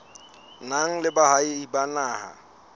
nang le boahi ba naha